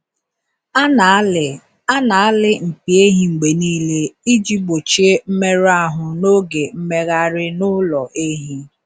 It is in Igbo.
A na-alị A na-alị mpi ehi mgbe niile iji gbochie mmerụ ahụ n’oge mmegharị n’ụlọ ehi.